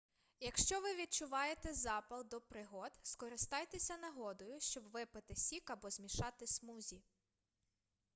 якщо ви відчуваєте запал до пригод скористайтеся нагодою щоб випити сік або змішати смузі